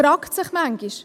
Man fragt sich manchmal: